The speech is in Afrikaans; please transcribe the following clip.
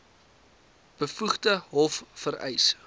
bevoegde hof vereis